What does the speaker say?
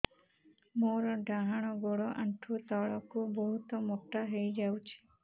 ମୋର ଡାହାଣ ଗୋଡ଼ ଆଣ୍ଠୁ ତଳକୁ ବହୁତ ମୋଟା ହେଇଯାଉଛି